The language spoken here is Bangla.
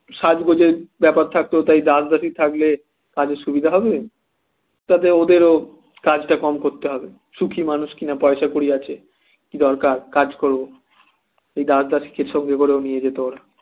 সাজগোজের ব্যাপার থাকতো তাই দাস দাসী থাকলে তাদের সুবিধা হবে তাতে ওদেরও কাজটা কম করতে হবে সুখী মানুষ কিনা পয়সা কড়ি আছে কি দরকার কাজ করব এই দাস দাসীকে সঙ্গে করে নিয়ে যেত ওরা